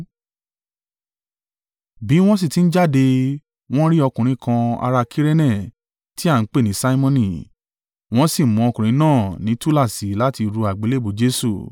Bí wọ́n sì ti ń jáde, wọ́n rí ọkùnrin kan ará Kirene tí à ń pè ní Simoni. Wọ́n sì mú ọkùnrin náà ní túláàsì láti ru àgbélébùú Jesu.